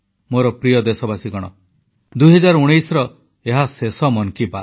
ମୋର ପ୍ରିୟ ଦେଶବାସୀଗଣ 2019ର ଏହା ଶେଷ ମନ୍ କି ବାତ୍